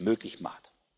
möglich macht.